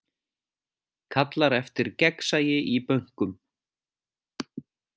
Kallar eftir gegnsæi í bönkum